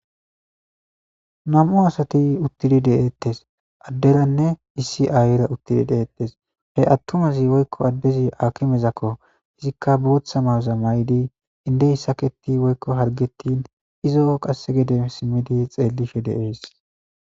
nam'u asati uttidi de'ettes adderanne issi aayila uttidi de'eettes he attumasi woykko addezi akimezakko izikka bootha mayoza maydi indey saketi woykko hargettin izo qasse gede simmidi xeelishe de'ees